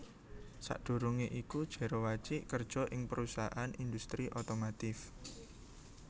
Sadurungé iku Jero Wacik kerja ing perusahaan industri otomotif